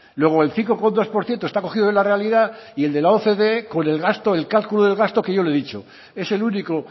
vale luego el cinco coma dos por ciento está cogido de la realidad y el de la ocde con el cálculo del gasto que yo le he dicho es el único